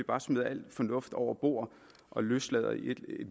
bare smider al fornuft over bord og løslader i et